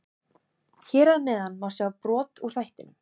Hér að neðan má sjá brot úr þættinum.